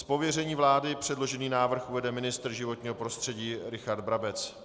Z pověření vlády předložený návrh uvede ministr životního prostředí Richard Brabec.